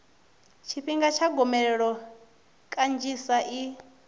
tshifhinga tsha gomelelo kanzhisa i